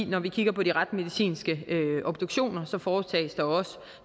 når vi kigger på de retsmedicinske obduktioner foretages der også